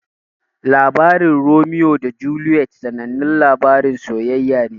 Labarin Romeo da Juliet sanannan labarin sayayya ne.